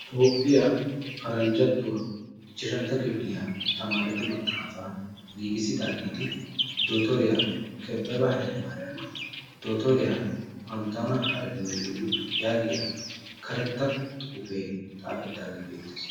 Toophiyaa paranjjatuwaa ichashshantto kifilyaa tamaretu maxaafa; giigissidaageeti Dottoriyaa Kebebe Haylemariyaamma, Dottoriyaa panttawunna Haregawana yaagiyaa karetta xuufe xaafetaagee beettees.